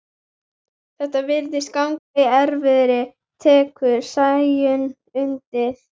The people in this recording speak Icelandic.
Þetta virðist ganga í erfðir, tekur Sæunn undir.